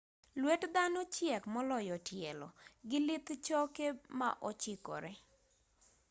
luet dhano chiek moloyo tielo gi lith choke ma ochikore